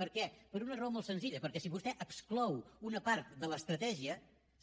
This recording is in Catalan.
per què per una raó molt senzilla perquè si vostè exclou una part de l’estratègia